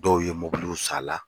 Dɔw ye mobiliw s'a la.